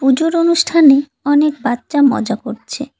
পুজোর অনুষ্ঠানে অনেক বাচ্চা মজা করছে।